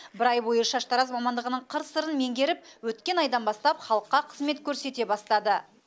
бір ай бойы шаштараз мамандығының қыр сырын меңгеріп өткен айдан бастап халыққа қызмет көрсете бастады